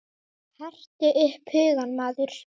Hertu upp hugann maður!